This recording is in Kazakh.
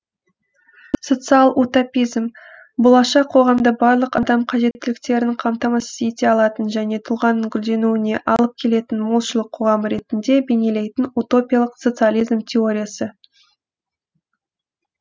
социал утопизм болашақ қоғамды барлық адам қажеттіліктерін қамтамасыз ете алатын және тұлғаның гүлденуіне алып келетін молшылық қоғамы ретінде бейнелейтін утопиялық социализм теориясы